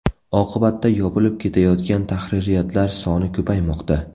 Oqibatda yopilib ketayotgan tahririyatlar soni ko‘paymoqda.